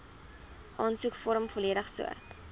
aansoekvorm volledig so